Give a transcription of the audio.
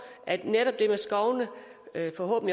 er at i forhold